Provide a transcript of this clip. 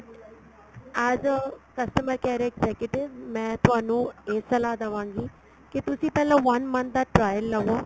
as a customer care executive ਮੈਂ ਤੁਹਾਨੂੰ ਇਹ ਸਲਾਹ ਦੇਵਾਗੀ ਕੀ ਤੁਸੀਂ ਪਹਿਲਾਂ one month ਦਾ trial ਲਵੋ